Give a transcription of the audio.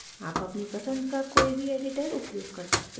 आप अपनी पसंद का कोई भी editor उपयोग कर सकते हैं